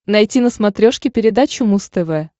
найти на смотрешке передачу муз тв